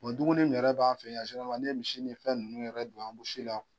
duguni yɛrɛ b'an fɛ yan n'i ye misi ni fɛn ninnu yɛrɛ don anbusi la